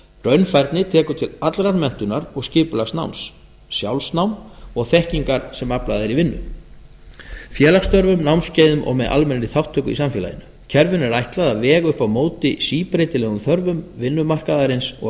raunfærni tekur til allrar menntunar og skipulags náms sjálfsnáms og þekkingar sem aflað er í vinnu félagsstörfum námskeiðum og með almennri þátttöku í samfélaginu kerfinu er ætlað að vega upp á móti síbreytilegum störfum vinnumarkaðarins og